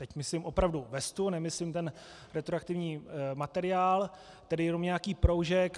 Teď myslím opravdu vestu, nemyslím ten retroaktivní materiál, tedy jenom nějaký proužek.